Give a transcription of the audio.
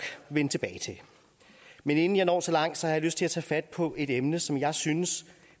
vende tilbage til men inden jeg når så langt har jeg lyst til at tage fat på et emne som jeg synes